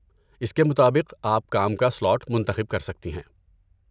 اس کے مطابق آپ کام کا سلاٹ منتخب کر سکتی ہیں۔